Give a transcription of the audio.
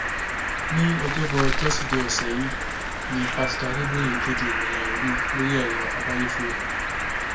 ní ọjọbọ tọsídéé ọsẹ yìí ní pásítọ adébóye kéde ìròyìn ayọ náà lórí ẹrọ abẹyẹfọ rẹ